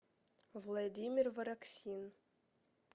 владимир вороксин